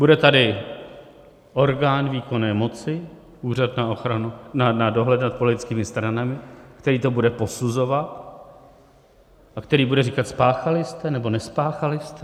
Bude tady orgán výkonné moci, Úřad pro dohled nad politickými stranami, který to bude posuzovat a který bude říkat: Spáchali jste, nebo nespáchali jste?